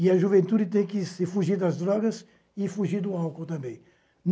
E a juventude tem que se fugir das drogas e fugir do álcool também.